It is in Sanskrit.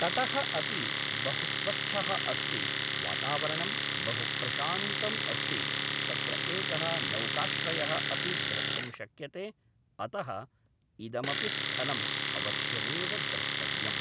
तटः अपि बहु स्वच्छः अस्ति वातावरणं बहुप्रशान्तम् अस्ति तत्र एकः नौकाश्रयः अपि द्रष्टुं शक्यते अतः इदमपि स्थलम् अवश्यमेव द्रष्टव्यम्